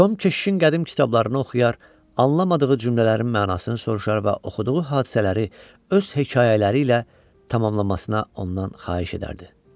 Tom keşişin qədim kitablarını oxuyar, anlamadığı cümlələrin mənasını soruşar və oxuduğu hadisələri öz hekayələri ilə tamamlamasına ondan xahiş edərdi.